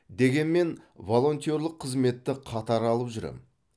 дегенмен волонтерлық қызметті қатар алып жүрем